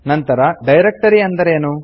ನಂತರ ಡೈರೆಕ್ಟರಿ ಅಂದರೆ ಏನು